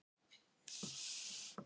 Má ég koma með þér?